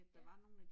Ja